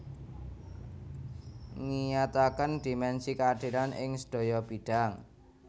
Ngiyataken dimensi keadilan ing sedaya bidhang